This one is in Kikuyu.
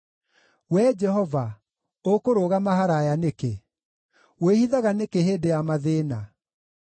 Wee Jehova, ũkũrũgama haraaya nĩkĩ? Wĩhithaga nĩkĩ hĩndĩ ya mathĩĩna?